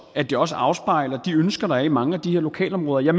at det også afspejler de ønsker der er i mange af de her lokalområder jeg